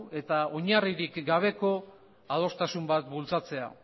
eta oinarririk gabeko adostasun bat bultzatzea